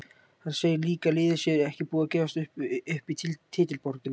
Hann segir að liðið sé ekki búið að gefast upp í titilbaráttunni.